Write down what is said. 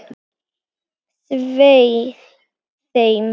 Svei þeim!